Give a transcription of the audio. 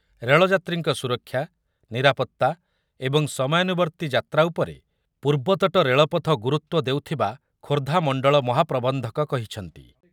ରେଳଯାତ୍ରୀଙ୍କ ସୁରକ୍ଷା, ନିରାପତ୍ତା ଏବଂ ସମୟାନୁବର୍ତ୍ତୀ ଯାତ୍ରା ଉପରେ ପୂର୍ବତଟ ରେଳପଥ ଗୁରୁତ୍ୱ ଦେଉଥିବା ଖୋର୍ଦ୍ଧା ମଣ୍ଡଳ ମହାପ୍ରବନ୍ଧକ କହିଛନ୍ତି ।